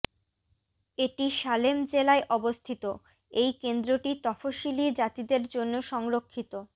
এটি সালেম জেলায় অবস্থিত এই কেন্দ্রটি তফসিলী জাতিদের জন্য সংরক্ষিত